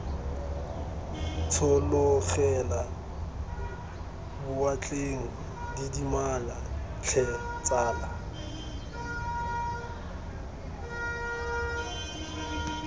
tshologela boatleng didimala tlhe tsala